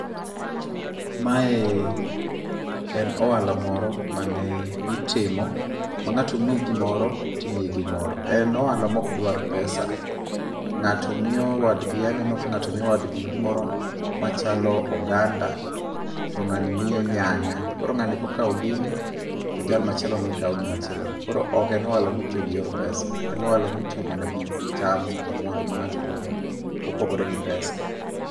Mae en ohala moro mane itimo ma ng'ato miyi gimoro, timiye gimoro. En ohala ma ok dwar pesa. Ng'ato miyo wadgi aneno ka ng'ato miyo wadgi gimoro machalo oganda to ng'ani miye nyanya. Koro ng'ani kokawo gini, to jal ma chieloni kawo gima chielono. Ok en ohala mitiyo gi yoe pesa. En ohala mitiyo mana gi cham kata mwandu ma ng'ato nigo mopogore gi pesa.